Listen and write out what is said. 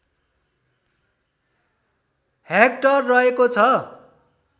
hectare रहेको छ